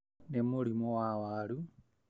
Nĩ mũrĩmi wa waru